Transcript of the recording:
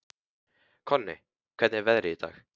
Konni, hvernig er veðrið í dag?